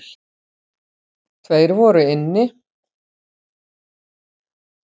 Tveir voru inni.